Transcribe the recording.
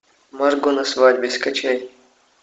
марго на свадьбе скачай